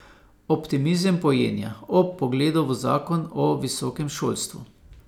Optimizem pojenja ob pogledu v zakon o visokem šolstvu.